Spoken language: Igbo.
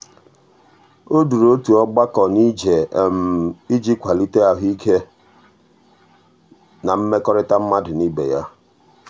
o duru otu ọgbakọ n'ije iji kwalite ahụike na mmekọrịta mmadụ na ibe ya.